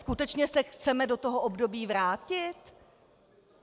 Skutečně se chceme do toho období vrátit?